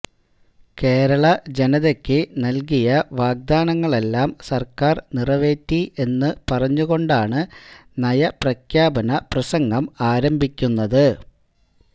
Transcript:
കേരള ജനതക്ക് നല്കിയ വാഗ്ദാനങ്ങളെല്ലാം സര്ക്കാര് നിറവേറ്റി എന്നു പറഞ്ഞുകൊണ്ടാണ് നയപ്രഖ്യാപന പ്രസംഗം ആരംഭിക്കുന്നത്